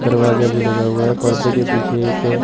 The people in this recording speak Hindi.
दरवाजा भी लगा हुआ है पर्दे के पीछे एक--